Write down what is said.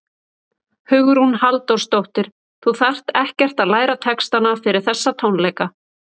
Hugrún Halldórsdóttir: Þú þarft ekkert að læra textana fyrir þessa tónleika?